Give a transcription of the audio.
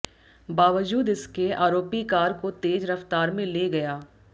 बावजूद इसके आरोपी कार को तेज रफ्तार में ले गया